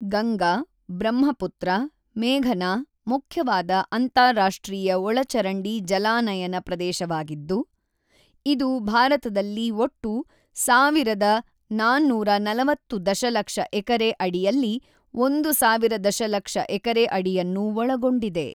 ಗಂಗಾ-ಬ್ರಹ್ಮಪುತ್ರ-ಮೇಘನಾ ಮುಖ್ಯವಾದ ಅಂತಾರಾಷ್ಟ್ರೀಯ ಒಳಚರಂಡಿ ಜಲಾನಯನ ಪ್ರದೇಶವಾಗಿದ್ದು, ಇದು ಭಾರತದಲ್ಲಿ ಒಟ್ಟು ೧,೪೪೦ ದಶಲಕ್ಷ ಎಕರೆ ಅಡಿಯಲ್ಲಿ ೧,೦೦೦ ದಶಲಕ್ಷ ಎಕರೆ ಅಡಿಯನ್ನು ಒಳಗೊಂಡಿದೆ.